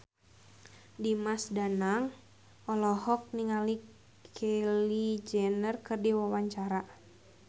Dimas Danang olohok ningali Kylie Jenner keur diwawancara